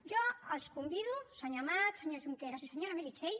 jo els convido senyor amat senyor junqueras i senyora meritxell